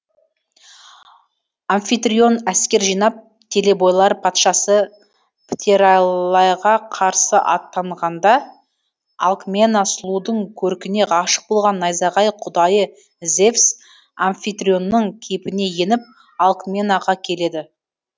амфитрион әскер жинап телебойлар патшасы птераллайға қарсы аттанғанда алкмена сұлудың көркіне ғашық болған найзағай құдайы зевс амфитрионның кейпіне еніп алкменаға келеді